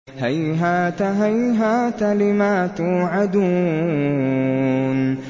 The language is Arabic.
۞ هَيْهَاتَ هَيْهَاتَ لِمَا تُوعَدُونَ